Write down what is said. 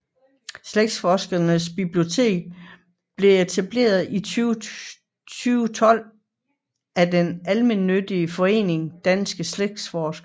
Slægtsforskernes Bibliotek blev etableret i 2012 af den almennyttige forening Danske Slægtsforskere